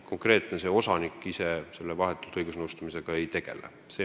Konkreetne osanik ise vahetult õigusnõustamisega ei tegele.